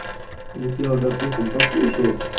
вот я вот допустим покушал